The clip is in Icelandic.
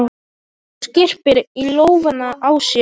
Hún skyrpir í lófana á sér.